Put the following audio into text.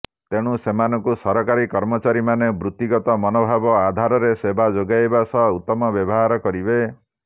ତେଣୁ ସେମାନଙ୍କୁ ସରକାରୀ କର୍ମଚାରୀମାନେ ବୃତ୍ତିଗତ ମନୋଭାବ ଆଧାରରେ ସେବା ଯୋଗାଇବା ସହ ଉତ୍ତମ ବ୍ୟବହାର କରିବେ